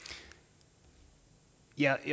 jeg